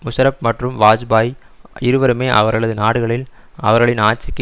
முஷாரப் மற்றும் வாஜ்பாயி இருவருமே அவர்களது நாடுகளில் அவர்களின் ஆட்சிக்கு